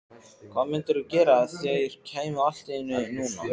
Hvað mundirðu gera ef þeir kæmu allt í einu núna?